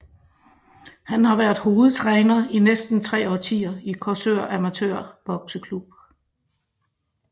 Han har været hovedtræner i næsten tre årtier i Korsør Amatør Bokseklub